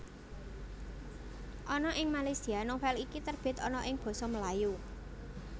Ana ing Malaysia novel iki terbit ana ing basa Melayu